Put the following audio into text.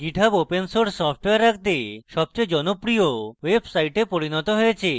github open source software রাখতে সবচেয়ে জনপ্রিয় website পরিণত হয়েছে